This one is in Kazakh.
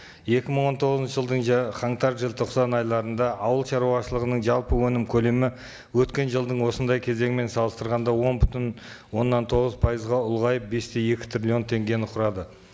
екі мың он тоғызыншы жылдың қаңтар желтоқсан айларында ауыл шаруашылығының жалпы өнім көлемі өткен жылдың осындай кезеңімен салыстырғанда он бүтін оннан тоғыз пайызға ұлғайып бес те екі триллион теңгені құрады